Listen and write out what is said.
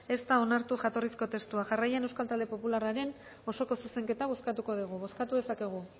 ez da onartu jatorrizko testua jarraian euskal talde popularraren osoko zuzenketa bozkatuko dugu bozkatu dezakegu